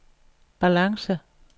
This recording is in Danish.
balance